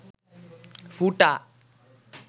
ফুটা